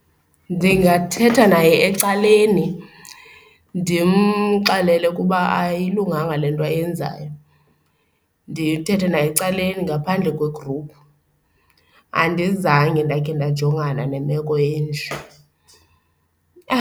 Ndingathetha naye ecaleni ndimxelele ukuba ayilunganga le nto ayenzayo, ndithethe naye ecaleni ngaphandle kwe-group. Andizange ndakhe ndajongana nemeko enje.